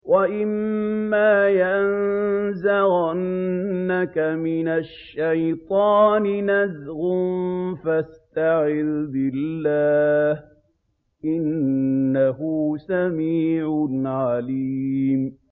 وَإِمَّا يَنزَغَنَّكَ مِنَ الشَّيْطَانِ نَزْغٌ فَاسْتَعِذْ بِاللَّهِ ۚ إِنَّهُ سَمِيعٌ عَلِيمٌ